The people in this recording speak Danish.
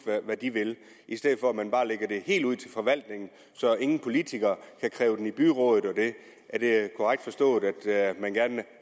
hvad de vil i stedet for at man bare lægger det helt ud til forvaltningen så ingen politikere kan kræve den i byrådet er det korrekt forstået at man gerne